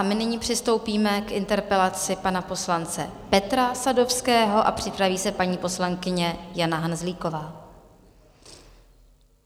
A my nyní přistoupíme k interpelaci pana poslance Petra Sadovského a připraví se paní poslankyně Jana Hanzlíková.